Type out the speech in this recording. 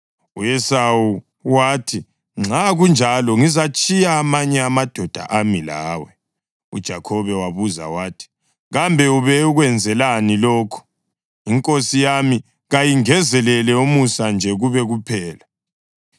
U-Esawu wathi, “Nxa kunjalo ngizatshiya amanye amadoda ami lawe.” UJakhobe wabuza wathi, “Kambe ube ukwenzelani lokho? Inkosi yami kayingenzele umusa nje kube kuphela.”